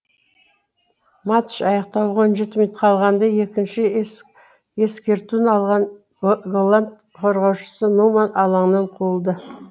матч аяқталуға он жеті минут қалғанда екінші ескертуін алған голланд қорғаушысы нуман алаңнан қуылды